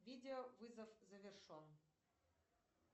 видеовызов завершен